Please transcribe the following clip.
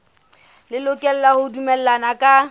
le lokela ho dumellana ka